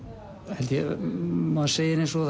held ég maður segir eins og